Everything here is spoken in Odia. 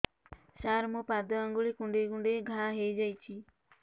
ସାର ମୋ ପାଦ ଆଙ୍ଗୁଳି କୁଣ୍ଡେଇ କୁଣ୍ଡେଇ ଘା ହେଇଯାଇଛି